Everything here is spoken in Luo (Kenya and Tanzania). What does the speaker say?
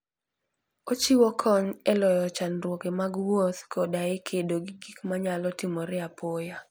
Ochiwo kony e loyo chandruoge mag wuoth koda e kedo gi gik manyalo timore apoya.